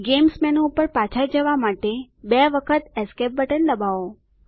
games menu પર પાછા જવા માટે બે વખત એસ્કેપ બટન દબાવો